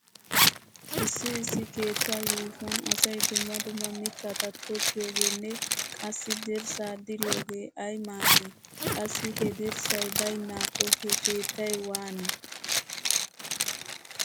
Issi issi keettaa yuushuwan asay dumma dumma mittata tokkiyogeenne qassi dirssaa diriyogee ay maaddi? Qassi he dirssay baynnaakko he keettay waani?